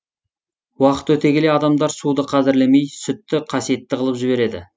уақыт өте келе адамдар суды қадірлемей сүтті қасиетті қылып жібереді